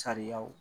Sariyaw